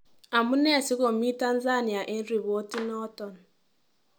Amunee sikomii Tanzania en ripotinoton.